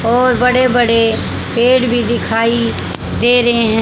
और बड़े बड़े पेड़ भी दिखाई दे रहे है।